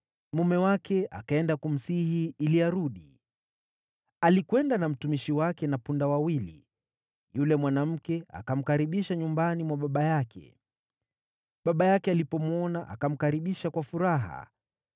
mume wake akaenda kumsihi ili arudi. Alikwenda na mtumishi wake na punda wawili. Yule mwanamke akamkaribisha nyumbani mwa baba yake, baba yake alipomwona akamkaribisha kwa furaha.